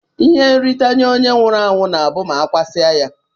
Ihe nrita nye onye nwụrụ anwu na abu ma akwasie ya.